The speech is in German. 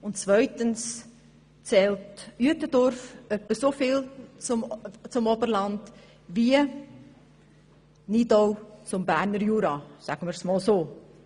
Und zweitens zählt Uetendorf etwa so sehr zum Oberland wie Nidau zum Berner Jura – sagen wir es einmal so.